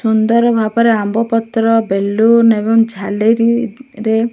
ସୁନ୍ଦର ଭାବରେ ଆମ୍ବ ପତ୍ର ବେଲୁନ୍ ଏବଂ ଝାଲେରୀ ରେ --